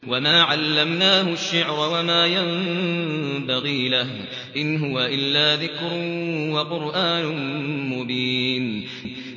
وَمَا عَلَّمْنَاهُ الشِّعْرَ وَمَا يَنبَغِي لَهُ ۚ إِنْ هُوَ إِلَّا ذِكْرٌ وَقُرْآنٌ مُّبِينٌ